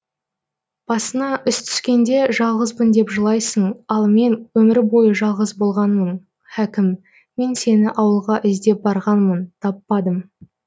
басыңа іс түскенде жалғызбын деп жылайсың ал мен өмірбойы жалғыз болғанмын хәкім мен сені ауылға іздеп барғанмын таппадым